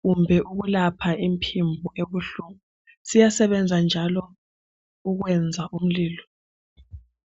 kumbe ukulapha umphimbo obuhlungu, siyasebenza njalo ukwenza umlilo.